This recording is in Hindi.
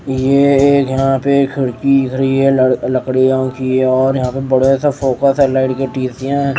ये यहां पे खिड़की खड़ी है ल लकड़ीयां की और यहां पे बड़ा सा फोकस है लाइट टीसीया--